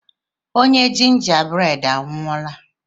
Nwoke ginger bred a anwụọla?